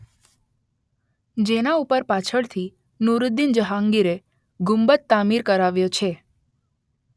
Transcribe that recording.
જેના ઉપર પાછળથી નૂરુદ્દીન જહાંગીરે ગુંબદ તામીર કરાવ્યો છે